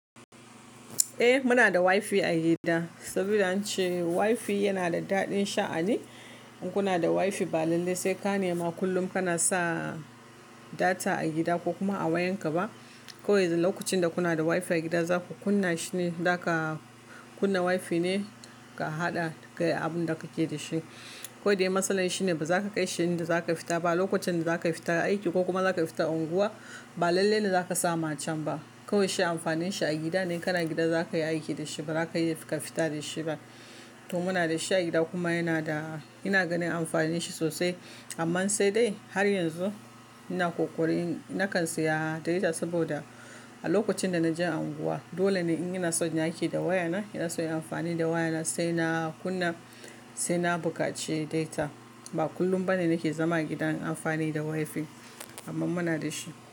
Eh muna da wifi a gida, saboda ance wifi yana da daɗin sha'ani. In kuna da wifi ba lalle sai ka nema kullum kana sa data a gida ko kuma a wayan ka ba. Kowai du lokacin da kuna da wifi a gida za ku kunna shi ne, za ka kunna wifi ne ka haɗa kai abun da kake da shi. Kowai de matsalar shi ne ba za ka kai shi inda za ka fita ba, lokacin da za ka fita aiki ko kuma za ka fita unguwa ba lalle ne za ka sa macen ba. Ko yaushe amfanin shi a gida ne, in kana gida za ka yi aiki da shi ba za ka iya fika fita da shi ba. To muna da shi a gida kuma yana da, ina ganin amfanin shi sosai. Amma sai dai har yanzu ina ƙoƙarin, nakan saya data saboda a lokacin da na je unguwa dole ne in ina so in yi aiki da wayana, ina so in yi amfani da wayana sai na kunna, sai na buƙaci data. Ba kullum ba ne nake zama gidan in amfani da wifi. Amma muna da shi.